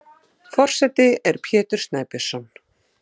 Forseti er Pétur Snæbjörnsson.